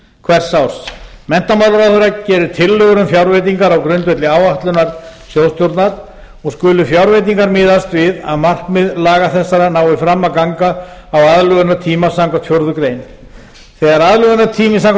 hvers árs menntamálaráðherra gerir tillögur um fjárveitingar á grundvelli áætlunar sjóðstjórnar og skulu fjárveitingar miðast við að markmið laga þessara nái fram að ganga á aðlögunartíma samkvæmt fjórðu grein þegar aðlögunartími samkvæmt